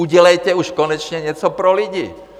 Udělejte už konečně něco pro lidi.